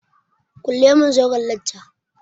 Kulle zauren lacca!